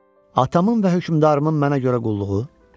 Atamın və hökmdarımın mənə görə qulluğu?